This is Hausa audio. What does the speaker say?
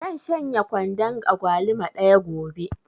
Zan shanye kwandon agwaluma ɗaya gobe